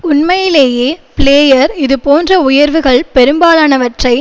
உண்மையிலேயே பிளேயர் இது போன்ற உயர்வுகள் பெரும்பாலானவற்றை